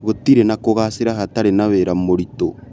Gũtirĩ na kũgacĩra hatarĩ na wĩra mũritũ